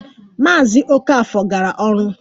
Maazị Okafor gara ọrụ